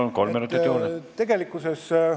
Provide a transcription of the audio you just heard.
Palun, kolm minutit juurde!